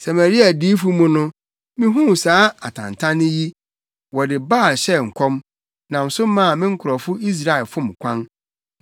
“Samaria adiyifo mu no mihuu saa atantanne yi: Wɔde Baal hyɛɛ nkɔm nam so maa me nkurɔfo Israelfo fom kwan.